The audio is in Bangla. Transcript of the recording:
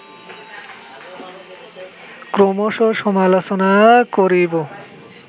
ক্রমশঃ সমালোচনা করিব